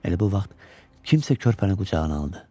Elə bu vaxt kimsə körpəni qucağına aldı.